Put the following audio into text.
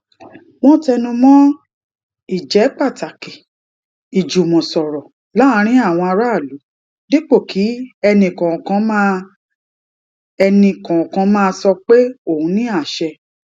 wón tẹnu mó ìjépàtàkì ìjùmòsòrò láàárín àwọn aráàlú dípò kí ẹnì kòòkan máa ẹnì kòòkan máa sọ pé òun ní àṣẹ